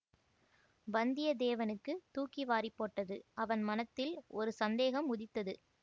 வந்தியத்தேவனுக்குத் தூக்கி வாரிப் போட்டது அவன் மனத்தில் ஒரு சந்தேகம் உதித்தது